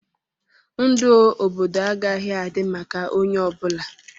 Ndụ obodo agaghị adị maka onye ọ bụla.